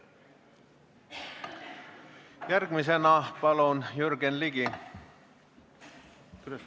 Järgmisena palun Jürgen Ligi.